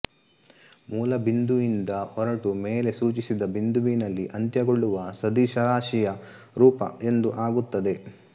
ಮೂಲಬಿಂದುಯಿಂದ ಹೊರಟು ಮೇಲೆ ಸೂಚಿಸಿದ ಬಿಂದುವಿನಲ್ಲಿ ಅಂತ್ಯಗೊಳ್ಳುವ ಸದಿಶರಾಶಿಯ ರೂಪ ಎಂದು ಆಗುತ್ತದೆ